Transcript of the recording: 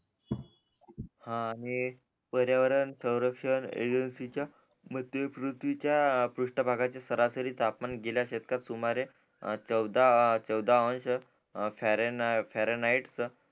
हा आणि पर्यावरण सवरक्षण मध्ये पृथ्वीच्या पृष्ट भागाची सरासरी तापमान गेल्या शतकात सुमारे चोंद चोदा अंश फ्यारेनाइट